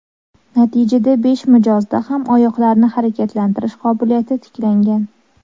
Natijada besh mijozda ham oyoqlarni harakatlantirish qobiliyati tiklangan.